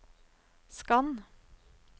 skann